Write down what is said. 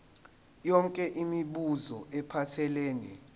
yonke imibuzo ephathelene